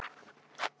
Hvað verður um hann?